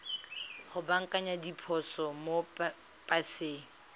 go baakanya diphoso mo paseng